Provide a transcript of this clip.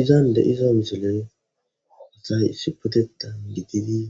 Izan deiza misiley asay issi potetan diggidi